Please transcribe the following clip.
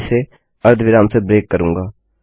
मैं इसे अर्धविराम से ब्रेक करूँगा